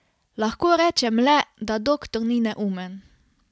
Lahko rečem le, da doktor ni neumen.